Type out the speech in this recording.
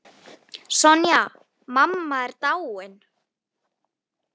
Sonja mamma er dáinn.